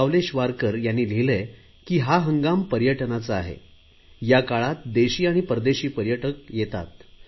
सावलेशवारकर यांनी लिहिलंय की हा हंगाम पर्यटनाचा आहे या काळात देशी आणि परदेशी पर्यटकही येतात